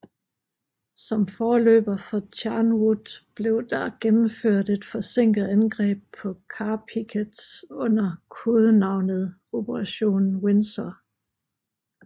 Som forløber for Charnwood blev der gennemført et forsinket angreb på Carpiquet under kodenavnet Operation Windsor